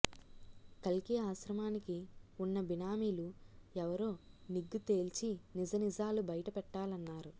కల్కి ఆశ్రమానికి ఉన్న బినామీలు ఎవరో నిగ్గు తేల్చి నిజనిజాలు బయటపెట్టాలన్నారు